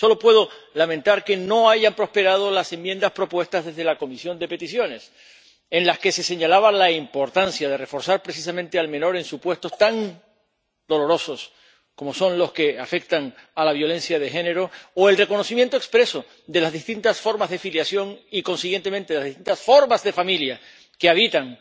Solo puedo lamentar que no hayan prosperado las enmiendas propuestas desde la Comisión de Peticiones, en las que se señalaba la importancia de reforzar precisamente al menor en supuestos tan dolorosos como son los que afectan a la violencia de género o del reconocimiento expreso de las distintas formas de filiación y, consiguientemente, de las distintas formas de familia que habitan